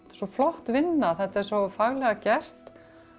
svo flott vinna þetta er svo faglega gert